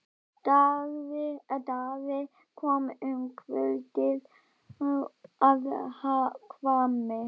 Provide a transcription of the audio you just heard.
Daði kom um kvöldið að Hvammi.